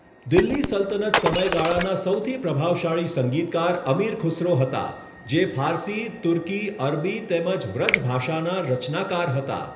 દિલ્હી સલ્તનત સમયગાળાના સૌથી પ્રભાવશાળી સંગીતકાર અમીર ખુસરો હતા, જે ફારસી, તુર્કી, અરબી તેમજ વ્રજ ભાષાના રચનાકાર હતા.